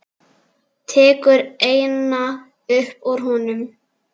Tekur eina upp úr honum.